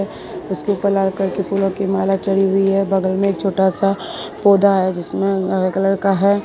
उसके ऊपर लाल कलर की फूलों की माला चढ़ी हुई है बगल में एक छोटा सा पौधा है जिसमें हरे कलर का है।